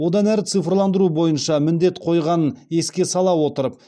одан әрі цифрландыру бойынша міндет қойғанын еске сала отырып